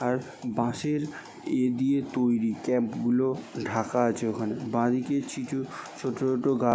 আর বাশের এ দিয়ে তৈরি। ক্যাম্প -গুলো ঢাকা আছে ওখানে। বাদিকে কিছু ছোট ছোট গা--